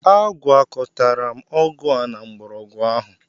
Agwakọtara m ọgwụ a na mgbọrọgwụ ahụ.